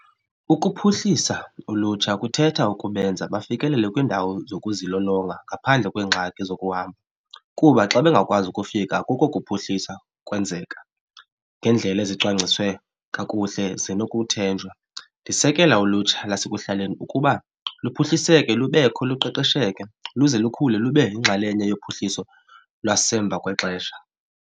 Ukuphuhlisa ulutsha kuthetha ukubenza bafikelele kwiindawo zokuzilolonga ngaphandle kweengxaki zokuhamba kuba xa bengakwazi ukufika kuko kuphuhlisa kwenzeka ngendlela ezicwangciswe kakuhle zinokuthenjwa. Ndisekela ulutsha lasekuhlaleni ukuba luphuhliseke lubekho luqeqesheke luze lukhule lube yinxalenye yophuhliso lwasemva kwexesha.